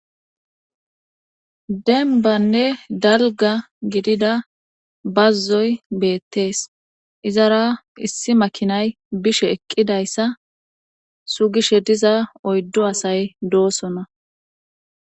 Dembanne dalga gidida bazzoy beettees izara issi makinay bishe eqqidayssa sugishe diza oyddu asay doosona.